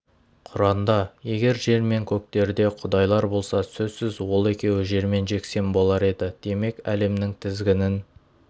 құранда егер жер мен көктерде құдайлар болса сөзсіз ол екеуі жермен-жексен болар еді демек әлемның тізгінін